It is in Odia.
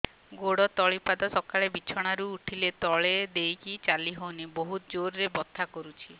ଗୋଡ ତଳି ପାଦ ସକାଳେ ବିଛଣା ରୁ ଉଠିଲେ ତଳେ ଦେଇକି ଚାଲିହଉନି ବହୁତ ଜୋର ରେ ବଥା କରୁଛି